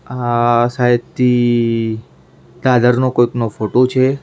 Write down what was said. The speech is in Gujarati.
આ શાયદથી નો કોઈક નો ફોટો છે.